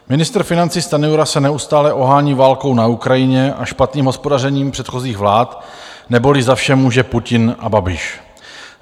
Ministr financí Stanjura se neustále ohání válkou na Ukrajině a špatným hospodařením předchozích vlád, neboli za vše může Putin a Babiš.